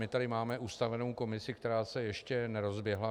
My tady máme ustavenou komisi, která se ještě nerozběhla.